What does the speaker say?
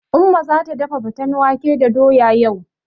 Umma zata dafa faten wake da doya yau.